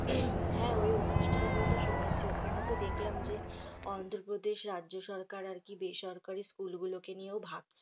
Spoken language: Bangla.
এই হ্যাঁ ওই অনুষ্ঠানের কথা শুনেছি ওখানে তো দেখলাম যে অন্ধ্রপ্রদেশ রাজ্য সরকার আরকি বেসরকারি school গুলোকে নিয়েও ভাবছে।